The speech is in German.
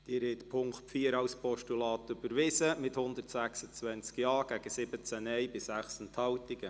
Sie haben den Punkt 4 als Postulat überwiesen mit 126 Ja- gegen 17 Nein-Stimmen bei 6 Enthaltungen.